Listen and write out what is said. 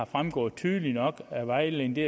fremgået tydeligt nok af vejledningen det